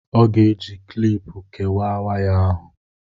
ọ ga-eji kịlịpù kewàà waya ahụ